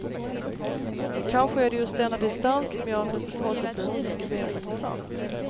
Kanske är det just denna distans som gör att resultatet blir så mycket mer intressant.